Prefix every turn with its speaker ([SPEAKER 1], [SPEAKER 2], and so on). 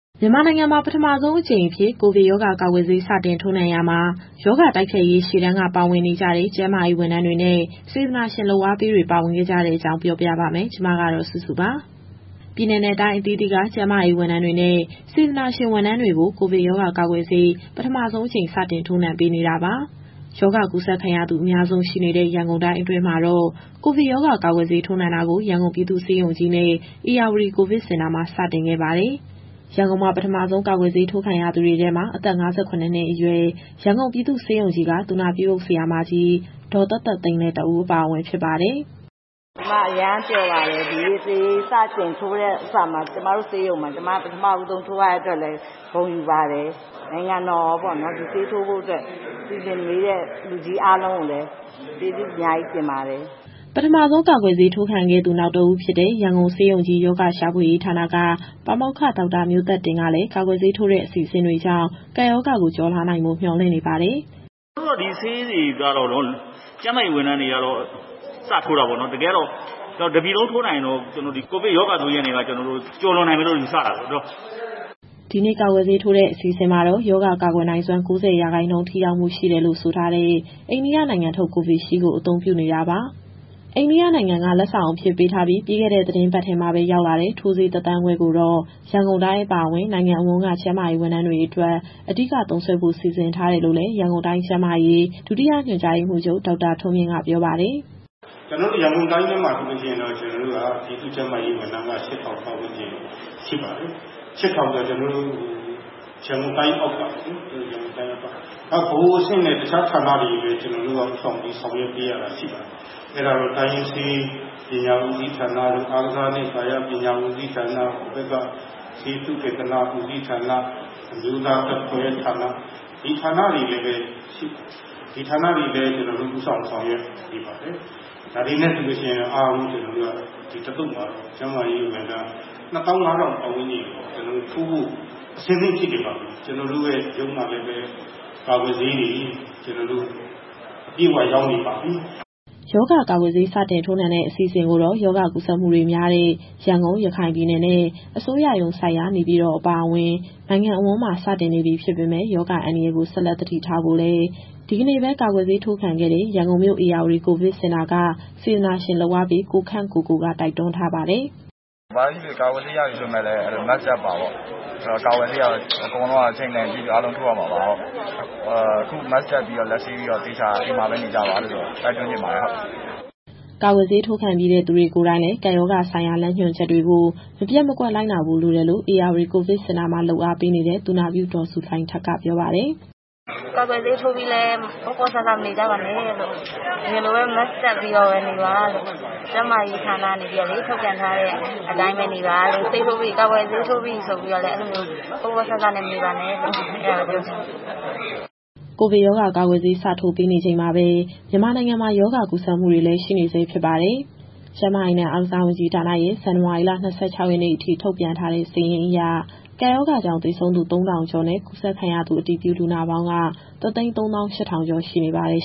[SPEAKER 1] မြန်မာနိုင်ငံမှာ ပထမဆုံးအကြိမ်အဖြစ် ကိုဗစ်ရောဂါကာကွယ်ဆေး စတင်ထိုးနှံရာမှာ ရောဂါတိုက်ဖျက်ရေး ရှေ့တန်းက ပါဝင်နေကြတဲ့ ကျန်းမာရေးဝန်ထမ်းတွေနဲ့ စေတနာရှင်လုပ်အားပေးတွေ ပါဝင်ခဲ့ကြတဲ့အကြောင်း ပြောပြပါမယ်။ ဗွီအိုအေမြန်မာပိုင်းသတင်းထောက် မစုစုက သတင်းပေးပို့ထားပါတယ်။ ပြည်နယ်နဲ့ တိုင်းအသီးသီးက ကျန်းမာရေးဝန်ထမ်းတွေနဲ့ စေတနာဝန်ထမ်းတွေကို ကိုဗစ်ရောဂါကာကွယ်ဆေး ပထမဆုံးအကြိမ် စတင်ထိုးနှံပေးနေတာပါ။ ရောဂါကူးစက်ခံရသူ အများဆုံးရှိနေတဲ့ ရန်ကုန်တိုင်းအတွင်းမှာတော့ ကိုဗစ်ရောဂါ ကာကွယ်ဆေးထိုးနှံတာကို ရန်ကုန်ပြည်သူ့ဆေးရုံကြီးနဲ့ ဧရာဝတီကိုဗစ်စင်တာမှာ စတင်ခဲ့ပါတယ်။ ရန်ကုန်မှာ ပထမဆုံး ကာကွယ်ဆေးထိုးခံရသူတွေထဲမှာတော့ အသက် ၅၇ နှစ်အရွယ် ရန်ကုန်ပြည်သူ့ဆေးရုံကြီးက သူနာပြုအုပ် ဆရာမကြီး ဒေါ်သက်သက်သိန်းလည်း တဦးအပါအဝင် ဖြစ်ပါတယ်။ "ကျမအရမ်းပျော်ပါတယ်။ ဒီနေ့ဆေးစတင်ထိုးတဲ့နေ့မှာ ကျမတို့ဆေးရုံမှာ ကျမ ပထမဦးဆုံးထိုးရတဲ့အတွက်လည်း ဂုဏ်ယူပါတယ်။ နိုင်ငံတော်ရောပေါ့နော်... ဒီဆေးထိုးဖို့အတွက် စီစဉ်ပေးတဲ့ လူကြီးအားလုံးကိုလည်း ကျေးဇူးအများကြီးတင်ပါတယ်။" ပထမဆုံး ကာကွယ်ဆေးထိုးခံခဲ့သူ နောက်တဦးဖြစ်တဲ့ ရန်ကုန်ဆေးရုံကြီး ရောဂါရှာဖွေရေးဌာနက ပါမောက္ခ ဒေါက်တာမျိုးသက်တင်ကလည်း ကာကွယ်ဆေးထိုးတဲ့ အစီအစဉ်တွေကြောင့် ကပ်ရောဂါကို ကျော်လွှားနိုင်ဖို့ မျှော်လင့်နေပါတယ်။ "အခုတော
[SPEAKER 2] ့ ဒီဆေးတွေကတော့ ကျန်းမာရေးဝန်ထမ်းတွေကတော့ စထိုးတာပေါ့နော်။ တကယ်ကတော့ တပြည်လုံးထိုးနိုင်ရင်တော့ ဒီကိုဗစ်ရောဂါဆိုးကြီးကနေပြီးတော့ ကျနော်တို့ကျော်လွန်နိုင်မယ်လို့ ယူဆတာပေါ့နော်။
[SPEAKER 1] " ဒီနေ့ ကာကွယ်ဆေးထိုးတဲ့ အစီအစဉ်မှာတော့ ရောဂါကာကွယ်နိုင်စွမ်း ၉၀ ရာခိုင်နှုန်း ထိရောက်မှု ရှိတယ်လို့ဆိုတဲ့ အိန္ဒိယနိုင်ငံထုတ် Covishield ကို အသုံးပြုနေတာပါ။ အိန္ဒိယနိုင်ငံက လက်ဆောင်အဖြစ်ပေးထားပြီး ပြီးခဲ့တဲ့ သီတင်းပတ်ထဲမှာပဲ ရောက်လာတဲ့ ထိုးဆေး ၁ သန်းခွဲကိုတော့ ရန်ကုန်တိုင်း အပါအဝင် နိုင်ငံအဝန်းက ကျန်းမာရေးဝန်ထမ်းတွေအတွက် အဓိက သုံးစွဲဖို့ စီစဉ်ထားတယ်လို့လည်း ရန်ကုန်တိုင်းကျန်းမာရေး၊ ဒုတိယညွှန်ကြားရေးမှူးချုပ် ဒေါက်တာထွန်းမြင့်က ပြောပါတယ်
[SPEAKER 2] ။ "ကျနော်တို့ ရန်ကုန်တိုင်းထဲမှာတော့ ပြည်သူ့ကျန်းမာရေးဝန်ထမ်းက ၈,၀၀၀ ပတ်ဝန်းကျင်ရှိပါတယ်။ ၈,၀၀၀ ကျော်ဆိုတာ ကျနော်တို့ ရန်ကုန်တိုင်းအောက်ကပေါ့နော်။ နောက် ဗဟိုအဆင့်နဲ့ တခြားဌာနတွေကိုလည်း ကျနော်တို့က ဦးဆောင်ပြီး ဆောင်ရွက်ပေးရတာရှိပါတယ်။ အဲဒါတော့ တိုင်းရင်းဆေးပညာဦးစီးဌာန၊ အားကစားနှင့် ကာယပညာဦးစီးဌာန၊ ဆေးသုတေသနဦးစီးဌာန၊ အမျိုးသားဓာတ်ခွဲဌာန၊ ဒီဌာနတွေကိုလည်း ကျနော်တို့ဦးဆောင် ဆောင်ရွက်နေပါတယ်။ ဒါတွေနဲ့ဆိုရင်တော့ အားလုံး ကျနော်တို့က ဒီတသုတ်မှာတော့ ကျန်းမာရေးဝန်ထမ်း ၂၅,၀၀၀ ပတ်ဝန်းကျင်ကို ထိုးဖို့အဆင်သင့်ဖြစ်နေပါပြီ။ ကျနော်တို့ရဲ့ရုံးမှာလည်းပဲ ကာကွယ်ဆေးတွေအပြည့်အဝ ရောက်နေပါပြီ။
[SPEAKER 1] " ရောဂါကာကွယ်ဆေး စတင်ထိုးနှံတဲ့ အစီအစဉ်ကိုတော့ ရောဂါကူးစက်မှုတွေများတဲ့ ရန်ကုန်၊ ရခိုင်ပြည်နယ်နဲ့ အစိုးရရုံးစိုက်ရာ နေပြည်တော် အပါအဝင် နိုင်ငံအဝန်းမှာ စတင်နေပြီ ဖြစ်ပေမဲ့ ရောဂါအန္တရာယ်ကို ဆက်လက်သတိထားဖို့လည်း ဒီကနေ့ပဲ ကာကွယ်ဆေးထိုးခံခဲ့တဲ့ ရန်ကုန်မြို့ ဧရာဝတီကိုဗစ်စင်တာက စေတနာရှင်လုပ်အားပေး ကိုခန့်ကိုကိုက တိုက်တွန်းထားပါတယ်။ "
[SPEAKER 2] ဘာပဲဖြစ်ဖြစ် ကာကွယ်ဆေးရပြီဆိုပေမဲ့လည်း Mask တပ်ပါပေါ့။ ကာကွယ်ဆေးကတော့ အချိန်တန်ရင် အားလုံးထိုးရမှာပါ။ အခု Mask တပ်ပြီး၊ လက်ဆေးပြီးတော့ အိမ်မှာပဲသေချာနေကြပါလို့ တိုက်တွန်းချင်ပါတယ်။
[SPEAKER 1] " ကာကွယ်ဆေးထိုးခံပြီးတဲ့ သူတွေကိုယ်တိုင်လည်း ကပ်ရောဂါဆိုင်ရာ လမ်းညွှန်ချက်တွေကို မပျက်မကွက် လိုက်နာဖို့ လိုတယ်လို့လည်း ဧရာဝတီကိုဗစ်စင်တာမှာ လုပ်အားပေးနေတဲ့ သူနာပြု ဒေါ်ဇူလိုင်ထက်ကပြောပါတယ်။ "ကာကွယ်ဆေးထိုးပြီးလည်း ပေါ့ပေါ့ဆဆ မနေကြပါနဲ့လို့။ အရင်လိုပဲ Mask တပ်ပြီးနေပါလို့။ ကျန်းမာရေးဌာနကနေ ထုတ်ပြန်ထားတဲ့အတိုင်းပဲ နေပါလို့။ ကာကွယ်ဆေးထိုးပြီးပြီဆိုပြီးတော့ ပေါ့ပေါ့ဆဆ မနေပါနဲ့လို့ အဲဒါပဲပြောချင်ပါတယ်။" ကိုဗစ်ရောဂါကာကွယ်ဆေး စထိုးပေးနေချိန်မှာပဲ မြန်မာနိုင်ငံမှာ ရောဂါကူးစက်မှုတွေလည်း ရှိနေဆဲဖြစ်ပါတယ်။ ကျန်းမာရေးနဲ့ အားကစားဝန်ကြီးဌာနရဲ့ ဇန်နဝါရီလ ၂၆ ရက်နေ့အထိ ထုတ်ပြန်ထားတဲ့စာရင်းအရ ကပ်ရောဂါကြောင့် သေဆုံးသူ ၃,၀၀၀ ကျော်နဲ့ ကူးစက်ခံရသူ အတည်ပြုလူနာပေါင်းက ၁၃၈,၀၀၀ ကျော်ရှိနေပါတယ်